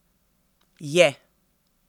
Je!